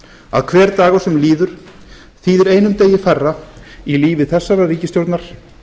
að hver dagur sem líður þýðir einum degi færra í lífi þessarar ríkisstjórnar